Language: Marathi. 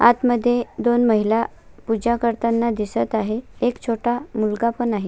आत मध्ये दोन महिला पूजा करताना दिसत आहे एक छोटा मुलगा पण आहे.